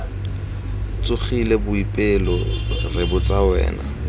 tsogile boipelo re botsa wena